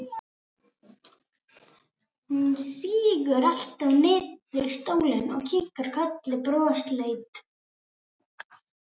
Hún sígur aftur niður í stólinn og kinkar kolli brosleit.